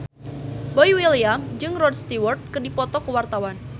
Boy William jeung Rod Stewart keur dipoto ku wartawan